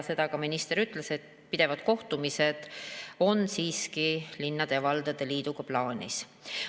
Seda ka minister ütles, et pidevad kohtumised on siiski linnade ja valdade liiduga plaanis.